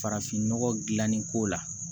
Farafinnɔgɔ gilanni ko la